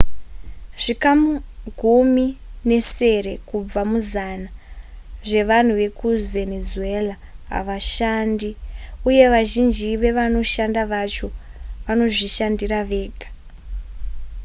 zvikamu gumi nesere kubva muzana zvevanhu vekuvenezuela havashandi uye vazhinji vevanoshanda vacho vanozvishandira vega